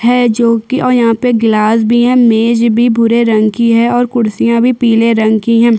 है जो कि और यहाँ पे गलास भी है इमेज भी भूरे रंग की है और कुर्सियां भी पिले रंग की है।